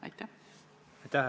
Aitäh!